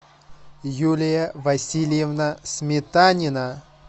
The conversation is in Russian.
юлия васильевна сметанина